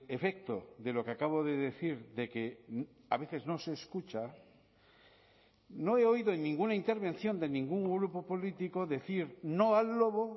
efecto de lo que acabo de decir de que a veces no se escucha no he oído en ninguna intervención de ningún grupo político decir no al lobo